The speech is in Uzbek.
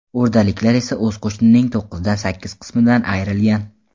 O‘rdaliklar esa o‘z qo‘shining to‘qqizdan sakkiz qismidan ayrilgan.